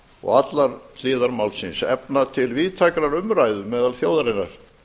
og allar hliðar málsins efna til víðtækrar umræðu meðal þjóðarinnar